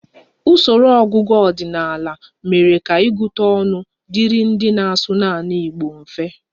Usoro ọgụgụ ọdịnala mere ka ịgụta ọnụ dịrị ndị na-asụ naanị Igbo mfe